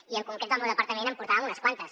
i en concret el meu departament en portàvem unes quantes